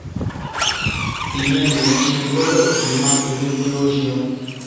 ìyẹn lèèyàn ṣe gbọ́dọ̀ kí mákindé pé ó ṣeun